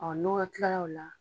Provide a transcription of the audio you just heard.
n'o kila o la